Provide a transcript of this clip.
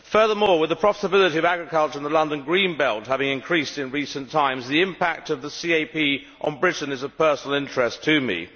Furthermore, with the profitability of agriculture in the London green belt having increased in recent times, the impact of the CAP on Britain is of personal interest to me.